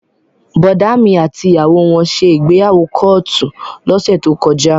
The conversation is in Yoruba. Bọ̀dá mi àti ìyàwó wọn ṣe ìgbéyàwó kóòtù lọ́sẹ̀ tó kọjá